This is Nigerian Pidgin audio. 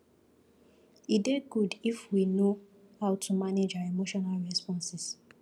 e dey good if we fit know how to manage our emotional responses